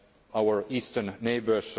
in our eastern neighbours.